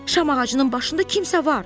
Şam ağacının başında kimsə var.